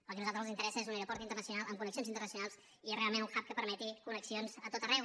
el que a nosaltres ens interessa és un aeroport internacional amb connexions internacionals i realment un hubxions a tot arreu